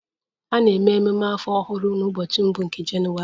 A na-eme ememe afọ ọhụrụ n'ụbọchị mbụ nke Jenụwarị